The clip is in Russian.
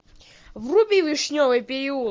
вруби вишневый переулок